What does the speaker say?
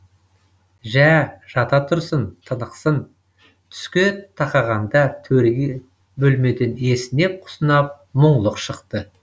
жә жата тұрсын тынықсын түске тақағанда төрге бөлмеден есінеп құсынап мұңлық шықты